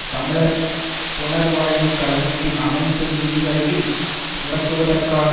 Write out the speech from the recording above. தமிழர் புனர்வாழ்வு கழகத்தின் அனைந்து நிதிகளையும் முடக்குவதற்கான